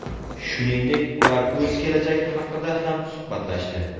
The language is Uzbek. Shuningdek, ular o‘z kelajagi haqida ham suhbatlashdi.